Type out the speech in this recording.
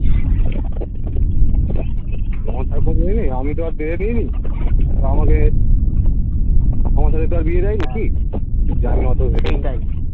আমারতো আর কোথাও এ নেই আমিতো আর দেখে দিইনি আমাকে আমার সাথে তো আর বিয়ে দেয়নি কি